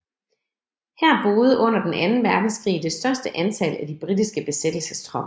Her boede under den anden Verdenskrig det største antal af de britiske besættelsestropper